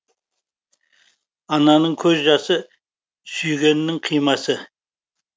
ананың көз жасы сүйгеннің қимасы